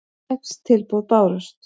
Sex tilboð bárust.